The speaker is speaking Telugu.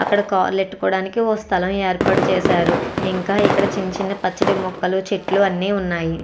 అక్కడ కార్లు పెట్టుకోటానికి ఒక స్థలం ఏర్పాటు చేశారు ఇంకా అక్కడ చిన్న చిన్న పచ్చటి మొక్కలు అన్నీ ఉన్నాయి.